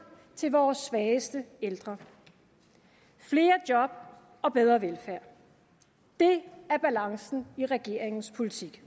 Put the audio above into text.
til vores svageste ældre flere job og bedre velfærd det er balancen i regeringens politik